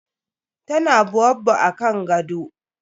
Ta na baobab akan gado.